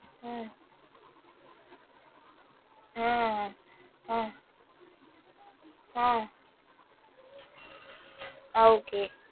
உம் ஆஹ் அஹ் ஆஹ் அஹ் okay